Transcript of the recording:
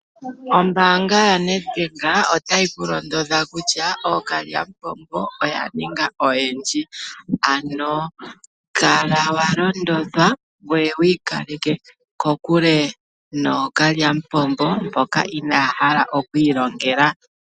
Ombaanga ya Nedbank otayi mu londodha kutya ookalyamupombo oya ninga oyendji, ano kala wa londodhwa ngwee wiikaleke kokule nookalyamupombo mboka inaya hala okwii longela.